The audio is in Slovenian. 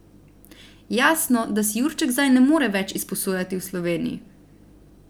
Jasno, da si Jurček zdaj ne more več izposojati v Sloveniji.